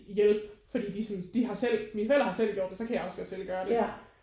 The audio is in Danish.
Hjælpe fordi de synes de har selv mine forældre har selv gjort det så kan jeg også godt selv gøre det